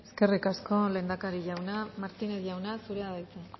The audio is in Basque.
eskerrik asko eskerrik asko lehendakari jauna martínez jauna zurea da hitza